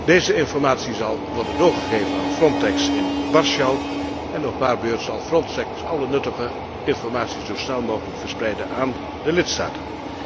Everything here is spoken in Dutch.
Deze informatie zal worden doorgegeven aan Frontex in Warschau en op haar beurt zal Frontex alle nuttige informatie zo snel mogelijk doorgeven aan de lidstaten.